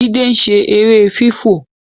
Jide ń ṣe èrè fifọ